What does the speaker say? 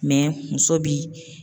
muso bi.